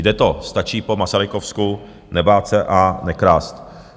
Jde to, stačí po masarykovsku nebát se a nekrást.